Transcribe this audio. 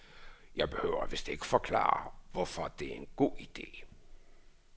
Jeg behøver vist ikke forklare, hvorfor det er en god ide.